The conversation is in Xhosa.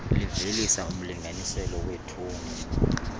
livelisa umlinganiselo weetoni